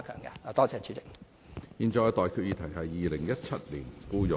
我現在向各位提出的待決議題是：《2017年僱傭